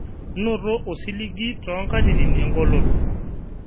Noto osiligi too nkatitin engoloto